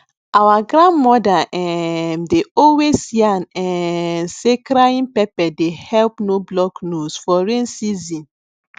our grandmother um dey always yan um say crying pepper dey help no block nose for rain season